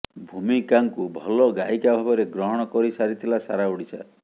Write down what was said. ଭୂମିକାଙ୍କୁ ଭଲ ଗାୟିକା ଭାବରେ ଗ୍ରହଣ କରିସାରିଥିଲା ସାରା ଓଡ଼ିଶା